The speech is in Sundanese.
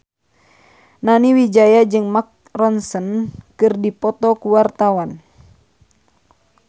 Nani Wijaya jeung Mark Ronson keur dipoto ku wartawan